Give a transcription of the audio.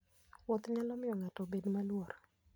Wuoth nyalo miyo ng'ato obed maluor.